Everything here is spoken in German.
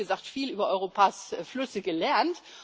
Ich habe, wie gesagt, viel über Europas Flüsse gelernt.